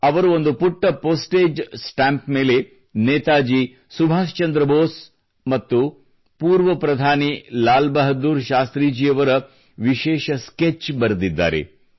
ಅವರು ಒಂದು ಪುಟ್ಟ ಪೋಸ್ಟೇಜ್ ಸ್ಟಾಂಪ್ ಮೇಲೆ ನೇತಾಜಿ ಸುಭಾಷ್ ಚಂದ್ರ ಬೋಸ್ ಮತ್ತು ಪೂರ್ವ ಪ್ರಧಾನಿ ಲಾಲ್ ಬಹಾದೂರ್ ಶಾಸ್ತ್ರಿಜಿಯವರ ವಿಶೇಷ ಸ್ಕೆಚ್ ಬರೆದಿದ್ದಾರೆ